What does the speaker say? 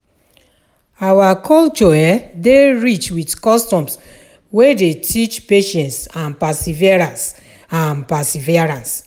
Our culture um dey rich with customs wey dey teach patience and perseverance. and perseverance.